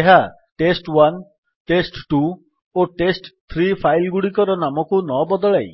ଏହା test one test two ଓ test three file ଗୁଡିକର ନାମକୁ ନବଦଳାଇ